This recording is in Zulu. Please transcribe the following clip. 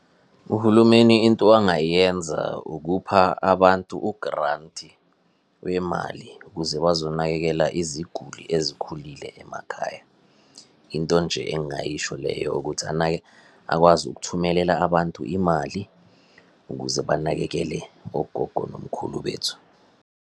Uhulumeni into angayenza ukupha abantu ugranti wemali ukuze bazonakekela iziguli ezikhulile emakhaya. Into nje engayisho leyo ukuthi akwazi ukuthumelela abantu imali, ukuze banakekele ogogo nomkhulu bethu.